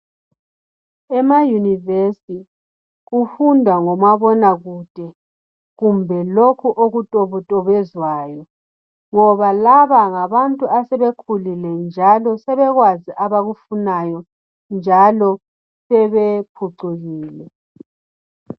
Ema yunivesi kufundwa ngomabonakude kumbe lokhu okutobetobezwayo ngoba laba ngabantu asebekhulile njalo sebekwazi abakufunayo njalo sebephucukile.